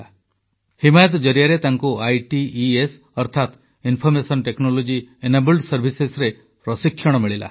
ହିମାୟତ ଜରିଆରେ ତାଙ୍କୁ ଆଇଟିଇଏସ ଅର୍ଥାତ ଇନଫର୍ମେସନ ଟେକନୋଲଜି ଏନେବଲ୍ଡ ସର୍ଭିସେସରେ ପ୍ରଶିକ୍ଷଣ ମିଳିଲା